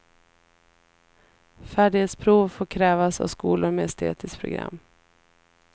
Färdighetsprov får krävas av skolor med estetiskt program.